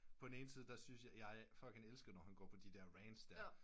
På den ene side der syntes jeg elsker jeg når han går på de der rants der